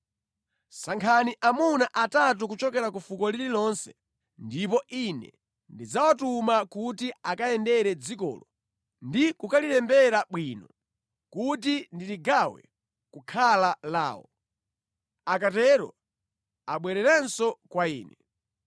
Sankhani amuna atatu kuchokera ku fuko lililonse ndipo ine ndidzawatuma kuti akayendere dzikolo ndi kukalilembera bwino kuti ndiligawe kukhala lawo. Akatero, abwererenso kwa ine.